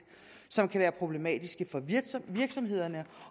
som kan være problematisk for virksomhederne